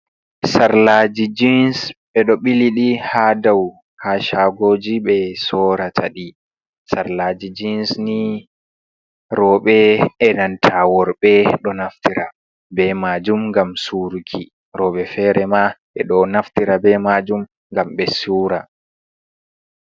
Sarlaji jins ɓe ɗo biliɗi ha dau ha shagoji be sora taɗi. Sarlaji jins ni roɓe e nanta, worɓe, ɗo naftira be majum ngam suruki, roɓe fere ma ɓe ɗo naftira be majum ngam ɓe sura.